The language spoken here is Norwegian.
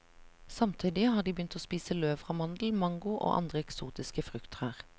Samtidig har de begynt å spise løv fra mandel, mango og andre eksotiske frukttrær.